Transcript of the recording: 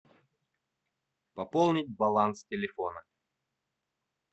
пополнить баланс телефона